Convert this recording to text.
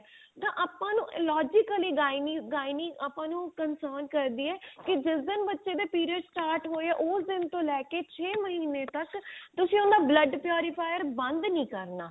ਜਾਂ ਆਪਾਂ ਨੂੰ illogically gynae gynae ਆਪਾਂ ਨੂੰ concerned ਕਰਦੀ ਏ ਕੀ ਜਿਸ ਦਿਨ ਬੱਚੇ ਦੇ period start ਹੋਏ ਆ ਉਸ ਦਿਨ ਤੋਂ ਲੈ ਕੇ ਛੇ ਤੱਕ ਤੁਸੀਂ ਉਹਦਾ blood purifier ਬੰਦ ਨੀ ਕਰਨਾ